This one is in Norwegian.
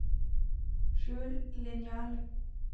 skjul linjal